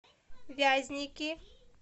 вязники